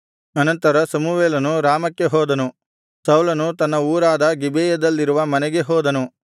ಅನಂತರ ಸಮುವೇಲನು ರಾಮಕ್ಕೆ ಹೋದನು ಸೌಲನು ತನ್ನ ಊರಾದ ಗಿಬೆಯದಲ್ಲಿರುವ ಮನೆಗೆ ಹೋದನು